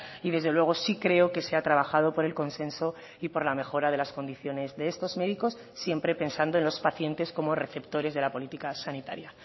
y desde luego sí creo que se ha trabajado por el consenso y por la mejora de las condiciones de estos médicos siempre pensando en los pacientes como receptores de la política sanitaria